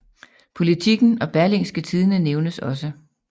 Politiken og Berlingske Tidende nævnes også